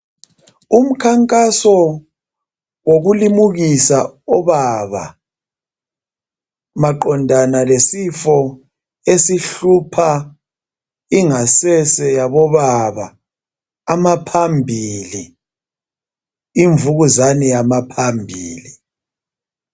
Umkhankaso wokulimukisa obaba maqondana lesifo esihlupha ingasese yabobaba amaphambili. Imvukuzane yamaphambili.